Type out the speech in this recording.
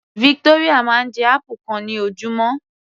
Victoria máa ń jẹ apple kan ní ojúmọ́